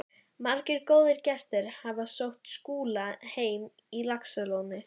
Margir góðir gestir hafa sótt Skúla heim á Laxalóni.